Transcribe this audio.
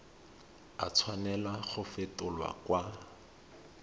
a tshwanela go fetolwa kwa